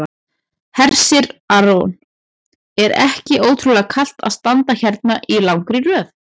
Hersir Aron: En er ekki ótrúlega kalt að standa hérna í langri röð?